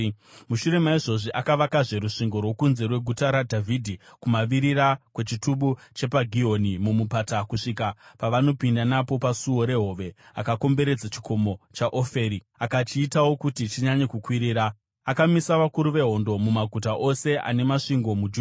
Mushure maizvozvi akavakazve rusvingo rwokunze rweGuta raDhavhidhi, kumavirira kwechitubu chepaGihoni mumupata, kusvika pavanopinda napo paSuo reHove akakomberedza chikomo chaOferi; akachiitawo kuti chinyanye kukwirira. Akamisa vakuru vehondo mumaguta ose ane masvingo muJudha.